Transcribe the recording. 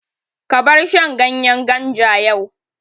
Ka bar shan ganyen ganja yau!